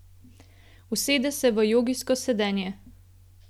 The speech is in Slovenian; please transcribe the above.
Usede se v jogijsko sedenje.